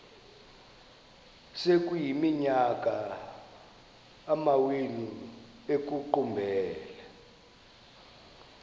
sekuyiminyaka amawenu ekuqumbele